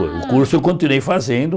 Ah O curso eu continuei fazendo.